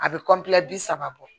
A bɛ bi saba bɔ